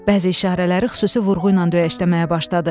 Bəzi işarələri xüsusi vurğu ilə döyəşləməyə başladı.